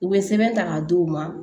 U bɛ sɛbɛn ta k'a d'u ma